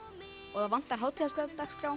og það vantar